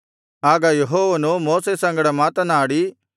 ಆಗ ಯೆಹೋವನು ಮೋಶೆ ಸಂಗಡ ಮಾತನಾಡಿ